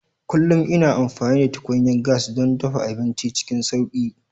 Kullum ina amfani da tukunyar gas don dafa abinci cikin sauƙi.